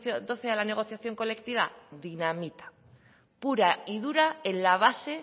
mil doce a la negociación colectiva dinamita pura y dura en la base